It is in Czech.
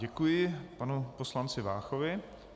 Děkuji panu poslanci Váchovi.